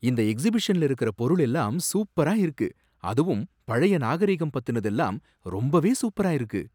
இந்த எக்சிபிஷன்ல இருக்குற பொருள் எல்லாம் சூப்பரா இருக்கு, அதுவும் பழைய நாகரிகம் பத்தினதெல்லாம் ரொம்பவே சூப்பரா இருக்கு.